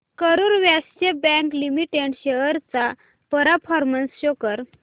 Karur Vysya bank limited shares चा performance show कर